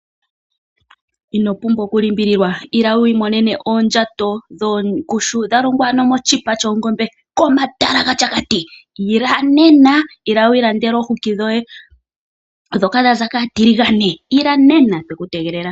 Ino pumbwa oku limbililwa. Ila wu imonene aoondjato dhongushu dha longwa ano komatala gaShakati. Ila nena, ila wu ilandele omafufu goye ndhoka dha za kaatiligane. Ila nena, otweku tegelela.